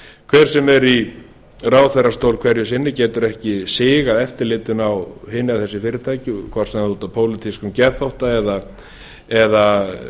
hver sem er í ráðherrastól hverju sinni getur ekki sigað eftirlitinu á hin eða þessi fyrirtæki hvort sem það er út af pólitískum geðþótta eða